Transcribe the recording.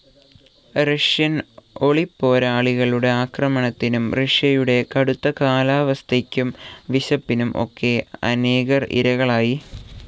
Russian ഒളിപ്പോരാളികളുടെ ആക്രമണത്തിനും റഷ്യയുടെ കടുത്ത കാലാവസ്ഥയ്ക്കും വിശപ്പിനും ഒക്കെ അനേകർ ഇരകളായി.